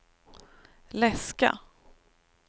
läska